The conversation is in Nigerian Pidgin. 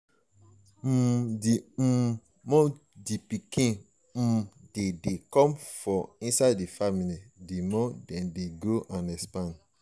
um the um more the pikin um de de come for inside the family the more dem de grow and expand